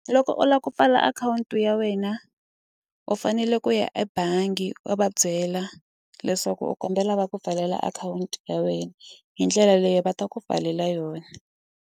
Loko u lava ku pfala akhawunti ya wena u fanele ku ya ebangi u va byela leswaku u kombela va ku pfalela akhawunti ya wena hi ndlela leyi va ta ku pfalela yona.